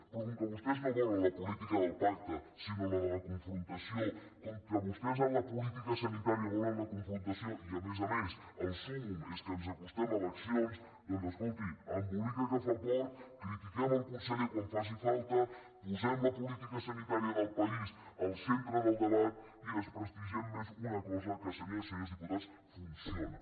però com que vostès no volen la política del pacte sinó la de la confrontació com que vostès en la política sanitària volen la confrontació i a més a més el súmmum és que ens acostem a eleccions doncs escolti embolica que fa fort critiquem el conseller quan faci falta posem la política sanitària del país al centre del debat i desprestigiem més una cosa que senyores i senyors diputats funciona